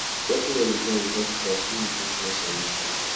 walking on di ground without slippers fit reduce stress and inflammation